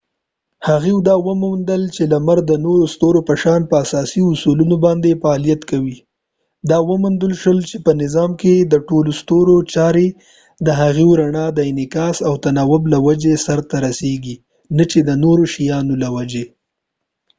هغوۍ دا وموندل چې لمر د نورو ستورو په شان په اساسي اصولو باندې فعالیت کوي دا وموندل شول چې په نظام کې د ټولو ستورو چارې د هغوۍ د رڼا د انعکاس او تناوب له وجې سرته رسیږي نه چې د نورو شیانو له وجې